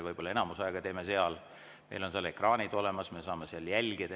Võib-olla enamus aega teeme seal, meil on seal ekraanid olemas, me saame jälgida.